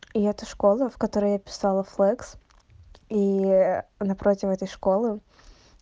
и это школа в которой я писала флэкс и напротив этой школы